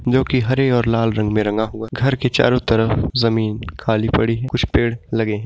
जोकि हरी और लाल रंग में रंगा हुआ घर के चारों तरफ जमीन खाली पड़ी है कुछ पेड़ लगे हैं।